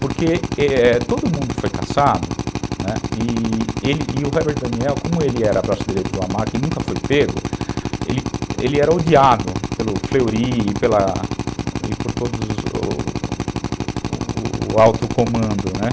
Porque todo mundo foi caçado, né, e o Robert Daniel, como ele era braço direito do Lamarck e nunca foi pego, ele era odiado pelo Fleury e pela e por todo o alto comando, né.